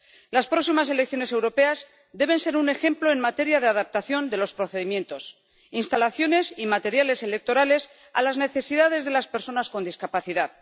Las próximas elecciones europeas deben ser un ejemplo en materia de adaptación de los procedimientos, las instalaciones y los materiales electorales a las necesidades de las personas con discapacidad.